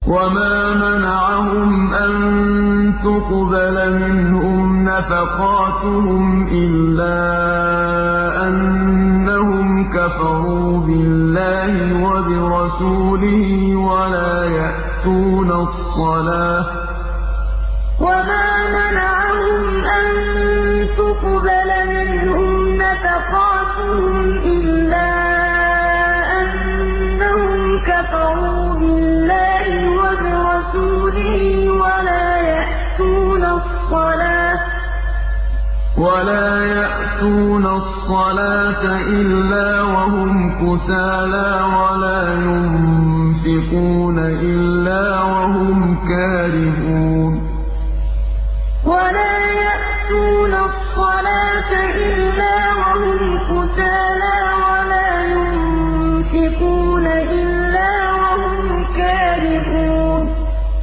وَمَا مَنَعَهُمْ أَن تُقْبَلَ مِنْهُمْ نَفَقَاتُهُمْ إِلَّا أَنَّهُمْ كَفَرُوا بِاللَّهِ وَبِرَسُولِهِ وَلَا يَأْتُونَ الصَّلَاةَ إِلَّا وَهُمْ كُسَالَىٰ وَلَا يُنفِقُونَ إِلَّا وَهُمْ كَارِهُونَ وَمَا مَنَعَهُمْ أَن تُقْبَلَ مِنْهُمْ نَفَقَاتُهُمْ إِلَّا أَنَّهُمْ كَفَرُوا بِاللَّهِ وَبِرَسُولِهِ وَلَا يَأْتُونَ الصَّلَاةَ إِلَّا وَهُمْ كُسَالَىٰ وَلَا يُنفِقُونَ إِلَّا وَهُمْ كَارِهُونَ